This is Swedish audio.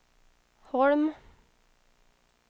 Holm